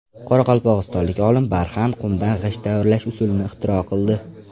Qoraqalpog‘istonlik olim barxan qumdan g‘isht tayyorlash usulini ixtiro qildi.